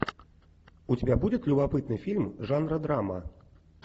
у тебя будет любопытный фильм жанра драма